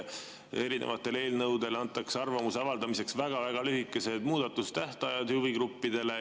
Erinevate eelnõude kohta arvamuse avaldamiseks antakse huvigruppidele väga lühikesed muudatustähtajad.